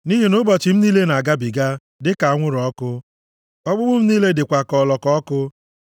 Nʼihi na ụbọchị m niile na-agabiga, dịka anwụrụ ọkụ; ọkpụkpụ m niile dịkwa ka ọlọkọ ọkụ.